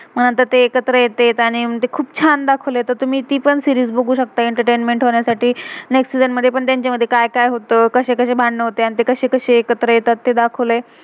मग नंतर ते एकत्र येतात, अआनी खुप छान दाखवलय. तर तुम्ही ती पण सीरीज series बघू शक्ताय एंटरटेनमेंट entertainment होण्यासाठी. नेक्स्ट next सीजन season मधे पण त्यांचे मधे का्य का्य होतय, कशे कशे भांडण होत्यत, ते कशे कशे एकत्र येतात, ते दाखवलय.